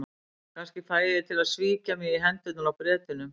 Kannski fæ ég þig til að svíkja mig í hendurnar á Bretunum.